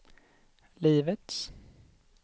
livets